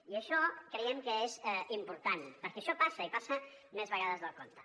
i això creiem que és important perquè això passa i passa més vegades del compte